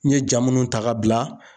N ye ja minnu ta ka bila.